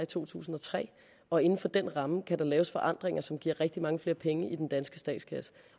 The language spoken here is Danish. to tusind og tre og inden for den ramme kan der laves forandringer som giver rigtig mange flere penge i den danske statskasse